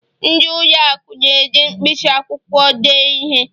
ndị ụlọ akụ na-eji mkpịsị akwụkwọ dee ihe